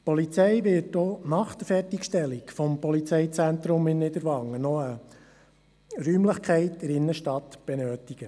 Die Polizei wird auch nach Fertigstellung des Polizeizentrums in Niederwangen eine Räumlichkeit in der Innenstadt benötigen.